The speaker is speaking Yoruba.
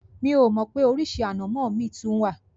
Mi ò mọ̀ pé oríṣi ànàmọ́ mi tún wà.